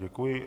Děkuji.